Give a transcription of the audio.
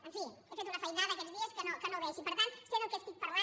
en fi he fet una feinada aquests dies que no vegi per tant sé del que estic parlant